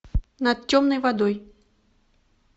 над темной водой